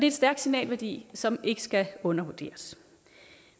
en stærk signalværdi som ikke skal undervurderes